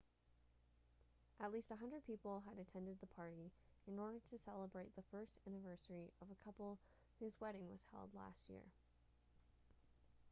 at least 100 people had attended the party in order to celebrate the first anniversary of a couple whose wedding was held last year